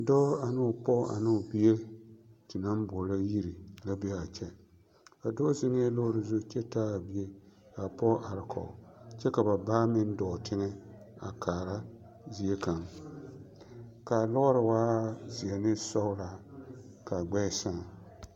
Dɔɔ ane o pɔge ane o bie te naŋ boɔlɔ yiri la be a kyɛ, a dɔɔ zeŋɛɛ lɔɔre zu kyɛ taa a bie k'a pɔge are kɔge kyɛ ka ba baa meŋ dɔɔ tegɛ ka kaara zie kaŋ, k'a lɔɔre waa zeɛ ne sɔgelaa k'a gbɛɛ sãã.